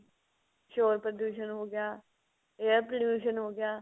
ਸ਼ੋਰ ਪ੍ਰਦੂਸ਼ਨ ਹੋ ਗਿਆ air pollution ਹੋ ਗਿਆ